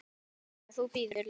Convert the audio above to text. Já, já. þú bíður, lagsi!